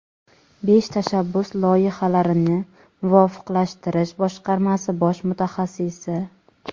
Besh tashabbus loyihalarini muvofiqlashtirish boshqarmasi bosh mutaxassisi.